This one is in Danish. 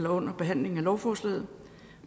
under behandlingen af lovforslaget